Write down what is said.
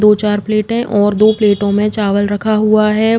दो चार प्लेट है और दो प्लेटों में चावल रखा हुआ हैं।